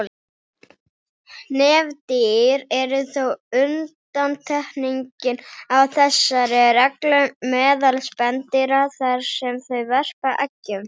Nefdýr eru þó undantekningin á þessari reglu meðal spendýra þar sem þau verpa eggjum.